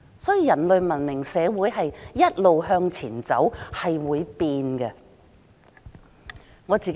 所以，人類文明社會一直向前走，是會改變的。